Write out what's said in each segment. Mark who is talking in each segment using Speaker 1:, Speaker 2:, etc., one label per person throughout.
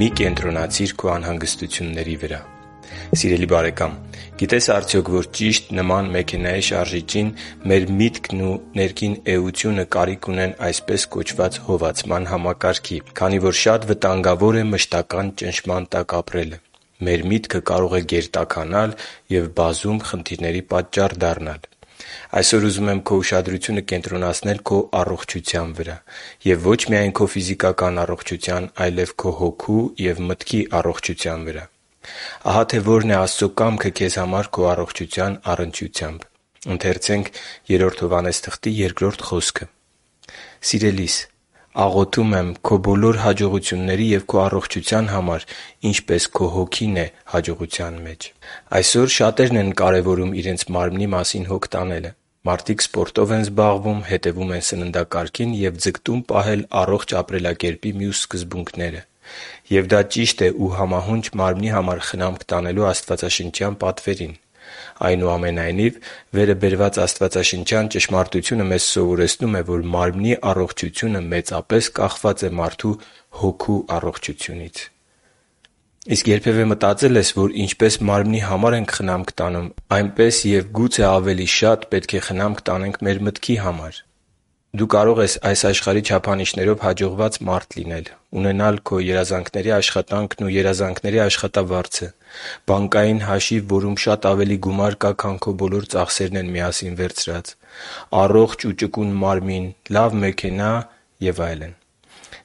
Speaker 1: Մի՛ կենտրոնացիր քո անհանգստությունների վրա Սիրելի՛ բարեկամ, գիտե՞ս արդյոք, որ ճիշտ նման մեքենայի շարժիչի, մեր միտքն ու ներքին էությունը կարիք ունեն այսպես կոչված «հովացման համակարգի», քանի որ շատ վտանգավոր է մշտական ճնշման տակ ապրելը։ Մեր միտքը կարող է «գերտաքանալ» և բազում խնդիրների պատճառ դառնալ։ Այսօր ուզում եմ քո ուշադրությունը կենտրոնացնել քո առողջության վրա: Եվ ոչ միայն քո ֆիզիկական առողջության, այլև քո հոգու և մտքի առողջության վրա: Ահա թե որն է Աստծո կամքը քեզ համար քո առողջության առնչությամբ․ «Սիրելի՛ս, աղոթում եմ քո բոլոր հաջողությունների և քո առողջության համար, ինչպես քո հոգին է հաջողության մեջ» (Գ Հովհաննես 1.2): Այսօր շատերն են կարևորում իրենց մարմնի մասին հոգ տանելը։ Մարդիկ սպորտով են զբաղվում, հետևում իրենց սննդակարգին և ձգտում պահել առողջ ապրելակերպի մյուս սկզբունքները։ Եվ դա ճիշտ է ու համահունչ մարմնի համար խնամք տանելու աստվածաշնչյան պատվերին։ Այնուամենայնիվ, վերը բերված աստվածաշնչյան ճշմարտությունը մեզ սովորեցնում է, որ մարմնի առողջությունը մեծապես կախված է մարդու հոգու առողջությունից։ Իսկ երբևէ մտածե՞լ ես, որ ինչպես մարմնի համար ենք խնամք տանում, այնպես և գուցե ավելի շատ պետք է խնամք տանենք մեր մտքի համար Դու կարող ես այս աշխարհի չափանիշներով հաջողված մարդ լինել՝ ունենալ քո երազանքների աշխատանքն ու երազանքների աշխատավարձը, բանկային հաշիվ, որում շատ ավելի գումար կա, քան քո բոլոր ծախսերն են միասին վերցրած, առողջ ու ճկուն մարմին, լավ մեքենա և այլն։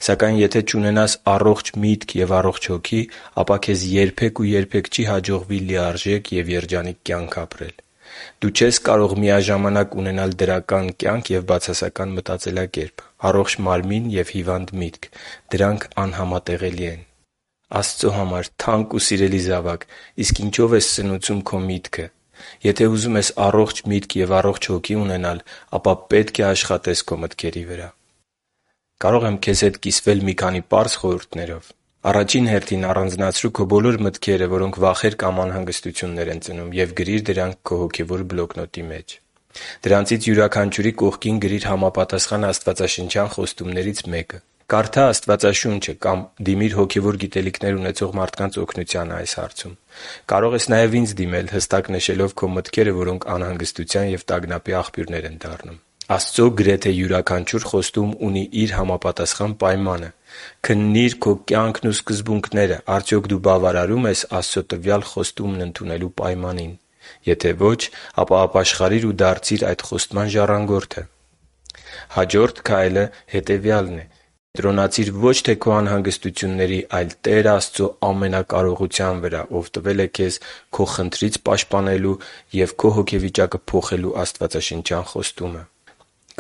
Speaker 1: Սակայն եթե չունենաս առողջ միտք և առողջ հոգի, ապա քեզ երբե՛ք ու երբե՛ք չի հաջողվի լիարժեք և երջանիկ կյանք ապրել: Դու չես կարող միաժամանակ ունենալ դրական կյանք և բացասական մտածելակերպ, առողջ մարմին և հիվանդ միտք։ Դրանք անհամատեղելի են: Աստծո համար թանկ ու սիրելի՛ զավակ, իսկ ինչո՞վ ես սնուցում քո միտքը: Եթե ուզում ես առողջ միտք ու առողջ հոգի ունենալ, ապա պետք է աշխատես քո մտքերի վրա։ Կարո՞ղ եմ քեզ հետ կիսվել մի քանի պարզ խորհուրդներով: Առաջին հերթին, առանձնացրու քո բոլոր մտքերը, որոնք վախեր կամ անհանգստություններ են ծնում, և գրիր դրանք մի քո հոգևոր բլոկնոտի մեջ: Դրանցից յուրաքանչյուրի կողքին գրիր համապատասխան աստվածաշնչյան խոստումներից մեկը։ Կարդա Աստվածաշունչ կամ դիմիր հոգևոր գիտելիքներ ունեցող մարդկանց օգնությանը։ Կարող ես նաև ինձ դիմել՝ հստակ նշելով քո մտքերը, որոնք անհանգստության ու տագնապի աղբյուր են դառնում։ Աստծո գրեթե յուրաքանչյուր խոստում ունի իր համապատասխան պայմանը։ Քննի՛ր քո կյանքն ու սկզբունքները՝ արդյոք դու բավարարո՞ւմ ես Աստծո տվյալ խոստումն ընդունելու պայմանին։ Եթե ոչ, ապա ապաշխարիր ու դարձիր այդ խոստման ժառանգորդը։ Հաջորդ քայլը հետևյալն է՝ կենտրոնացիր ոչ թե քո անհանգստությունների, այլ Տեր Աստծո ամենակարողության վրա, Ով տվել է քեզ քո խնդրից պաշտպանելու և քո հոգեվիճակը փոխելու աստվածաշնչյան խոստումը: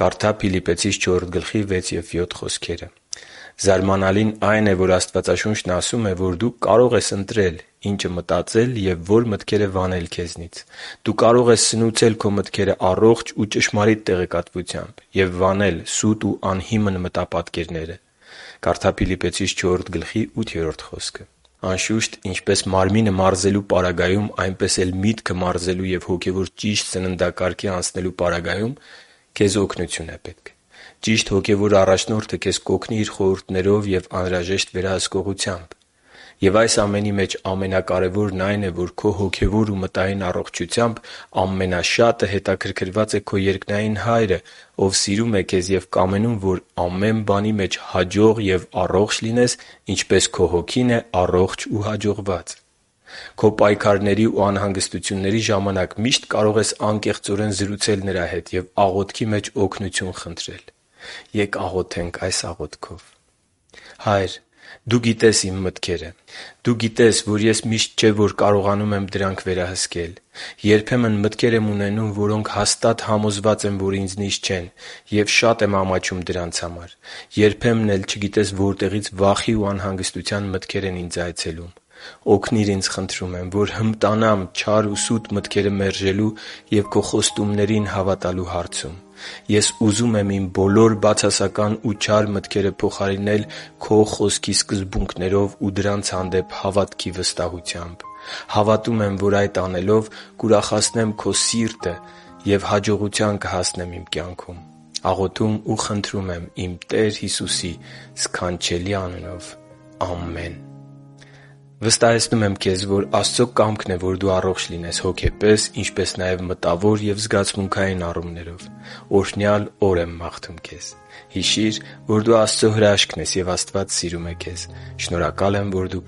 Speaker 1: (Կարդա՛ Փիլիպպեցիս 4․6-7 հատվածը)։ Զարմանալին այն է, որ Աստվածաշունչն ասում է, որ դու կարող ես ընտրել՝ ինչ մտածել և ո՛ր մտքերը վանել քեզնից։ Դու կարող ես սնուցել քո մտքերը առողջ ու ճշմարիտ տեղեկատվությամբ և վանել սուտ ու անհիմն մտապատկերները: (Կարդա՛ Փիլիպպեցիս 4․8 խոսքը) Անշուշտ, ինչպես մարմինը մարզելու պարագայում, այնպես էլ միտքը մարզելու և հոգևոր ճիշտ սննդակարգի անցնելու պարագայում քեզ օգնություն է պետք։ Ճիշտ հոգևոր առաջնորդը քեզ կօգնի իր խորհուրդներով և անհրաժեշտ վերահսկողությամբ։ Եվ այս ամենի մեջ ամենակարևորն այն է, որ քո հոգևոր ու մտային առողջությամբ ամենաշատը հետաքրքրված է քո երկնային Հայրը, Ով սիրում է քեզ և կամենում, որ ամեն բանի մեջ հաջող և առողջ լինես, ինչպես քո հոգին է առողջ ու հաջողված։ Քո պայքարների ու անհանգստությունների ժամանակ միշտ կարող ես անկեղծորեն զրուցել Նրա հետ և աղոթքի մեջ օգնություն խնդրել։ Ե՛կ աղոթենք․ «Հա՛յր, Դու գիտես իմ մտքերը. Դու գիտես, որ ես միշտ չէ, որ կարողանում եմ դրանք վերահսկել։ Երբեմն ես մտքեր եմ ունենում, որոնք հաստատ համոզված եմ, որ ինձնից չեն, և շատ եմ ամաչում դրանց համար։ Երբեմն էլ չգիտես որտեղից վախի ու անհագստության մտքեր են ինձ այցելում։ Օգնի՛ր ինձ, խնդրում եմ, որ հմտանամ չար ու սուտ մտքերը մերժելու և Քո խոստումներին հավատալու հարցում։ Ես ուզում եմ իմ բոլոր բացասական ու չար մտքերը փոխարինեմ Քո Խոսքի սկզբունքներով ու դրանց հանդեպ հավատքի վստահությամբ։ հավատում եմ, որ այդ անելով կուրախացնել Քո սիրտը և հաջողության կհասնեմ իմ կյանքում: Աղոթում ու խնդրում եմ Տեր Հիսուսի սքանչելի անունով։ Ամե՛ն»: Վստահեցնում եմ, որ Աստծո կամքն է, որ դու առողջ լինես՝ հոգեպես, ինչպես նաև մտավոր և զգացմունքային առումներով: Օրհնյալ օր եմ մաղթում քեզ։ Հիշի՛ր, որ դու Աստծո հրաշքն ես, և Աստված սիրում է քեզ։ Շնորհակալ եմ, որ դու